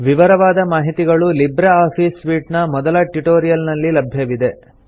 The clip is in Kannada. ವಿವರವಾದ ಮಾಹಿತಿಗಳು ಲಿಬ್ರೆ ಆಫೀಸ್ ಸೂಟ್ ನ ಮೊದಲ ಟ್ಯುಟೋರಿಯಲ್ ನಲ್ಲಿ ಲಭ್ಯವಿವೆ